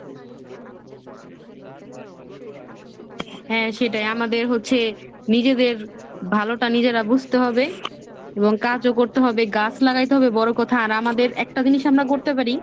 হ্যাঁ, সেটাই আমাদের হচ্ছে নিজেদের ভালোটা নিজেরা বুঝতে হবে এবং কাজও করতে হবে, গাছ লাগাইতে হবে বড়ো কথা আর আমাদের একটা জিনিস আমরা করতে পরি,